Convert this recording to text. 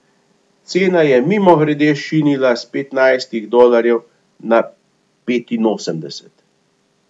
Cena je mimogrede šinila s petnajstih dolarjev na petinosemdeset.